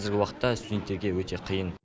қазіргі уақытта студенттерге өте қиын